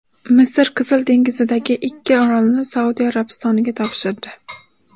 Misr Qizil dengizdagi ikki orolni Saudiya Arabistoniga topshirdi.